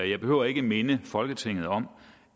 jeg behøver ikke at minde folketinget om